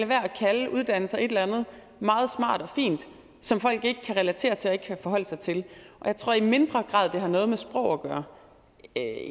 med at kalde uddannelser et eller andet meget smart og fint som folk ikke kan relatere noget til og ikke kan forholde sig til jeg tror i mindre grad at det har noget med sprog at gøre